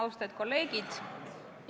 Austatud kolleegid!